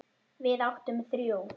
Við áttum þrjú.